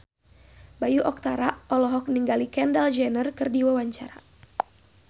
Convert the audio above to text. Bayu Octara olohok ningali Kendall Jenner keur diwawancara